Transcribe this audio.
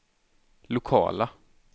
lokala